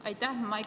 Aitäh!